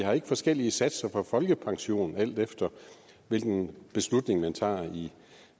har forskellige satser på folkepensionen alt efter hvilken beslutning man tager i det